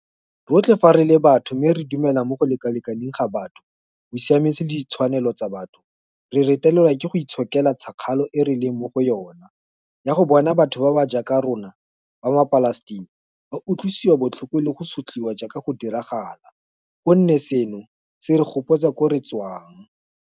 Rotlhe fa re le batho mme re dumela mo go lekalekaneng ga batho, bosiamisi le ditshwanelo tsa batho, re retelelwa ke go itshokela tšhakgalo e re leng mo go yona ya go bona batho ba ba jaaka rona ba maPalestina ba utlwisiwa botlhoko le go sotliwa jaaka go diragala, gonne seno se re gopotsa koo re tswang.